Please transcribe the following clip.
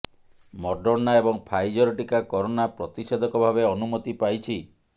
Moderna ଏବଂ Pfizer ଟିକା corona ପ୍ରତିଷେଧକ ଭାବେ ଅନୁମତି ପାଇଛି